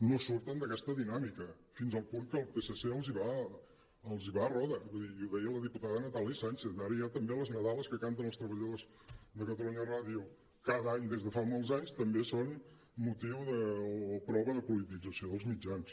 no surten d’aquesta dinàmica fins al punt que el psc els va a roda vull dir ho deia la diputada natàlia sànchez ara ja també les nadales que canten els treballadors de catalunya ràdio cada any des de fa molts anys també són motiu o prova de politització dels mitjans